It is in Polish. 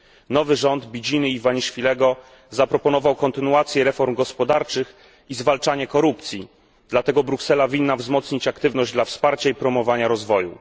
Nowy rząd Bidziny Iwaniszwilego zaproponował kontynuację reform gospodarczych i zwalczanie korupcji, dlatego Bruksela winna wzmocnić aktywność dla wsparcia i promowania rozwoju.